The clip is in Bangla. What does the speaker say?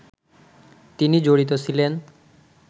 তিনি জড়িত ছিলেন